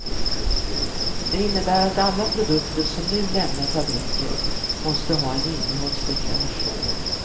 Det innebär att alla produkter som nu lämnar fabriken måste ha en innehållsdeklaration.